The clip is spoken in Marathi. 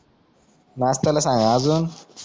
नाष्टाला सांग आजून